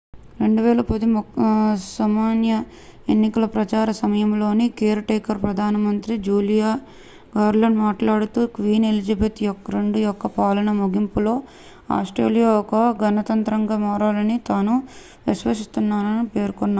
2010 సమాఖ్య ఎన్నికల ప్రచార సమయంలో కేర్ టేకర్ ప్రధానమంత్రి జూలియా గిల్లార్డ్ మాట్లాడుతూ క్వీన్ ఎలిజబెత్ ii యొక్క పాలన ముగింపులో ఆస్ట్రేలియా ఒక గణతంత్రంగా మారాలని తాను విశ్వసిస్తున్నానని పేర్కొన్నారు